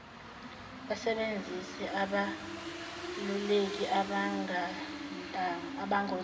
basebenzise abeluleki abangontanga